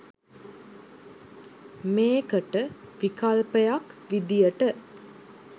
මේකට විකල්පයක් විදියට